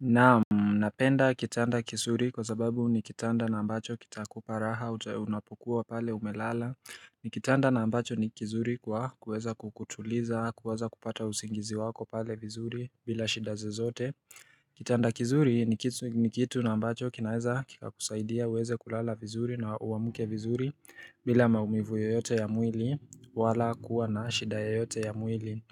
Naam, napenda kitanda kizuri kwa sababu ni kitanda na ambacho kita kuparaha, unapokuwa pale umelala ni kitanda na ambacho ni kizuri kwa kuweza kukutuliza, kuweza kupata usingizi wako pale vizuri bila shida zozote Kitanda kizuri ni kitu na ambacho kinaeza kika kusaidia uweze kulala vizuri na uwamuke vizuri bila maumivu yoyote ya mwili wala kuwa na shida yoyote ya mwili